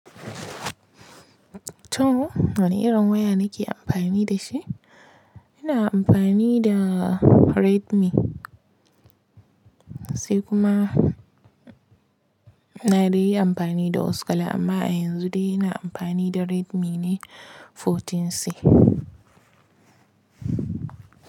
To, wane irin waya nake amfani da shi? Ina amfani da Redmi, sai kuma na dai yi amfani da wasu kala, amma a yanzu dai ina amfani da Redmi ne 14C.